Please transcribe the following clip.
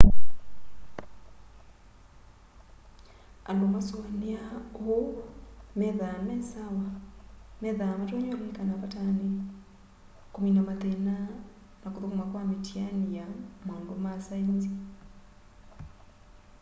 andu masuaniaa uu methwaa me sawa methwaa matonya ulilikana patani kumina mathina na kuthukuma kwa mitiani ya maundu ma saenzi